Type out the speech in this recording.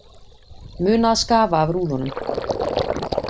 Muna að skafa af rúðunum